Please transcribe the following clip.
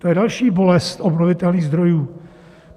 To je další bolest obnovitelných zdrojů.